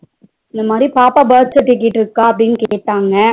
இன்னாமாரி பாப்பா birth certificate இருக்கா அப்டினு கேட்டாங்க